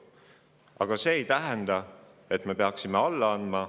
Aga see ei tähenda, et me peaksime alla andma.